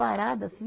Parada, assim.